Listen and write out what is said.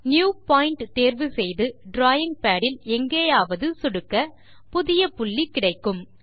new point தேர்வு செய்து drawing pad இல் எங்காவது சொடுக்க புதிய புள்ளி கிடைக்கும்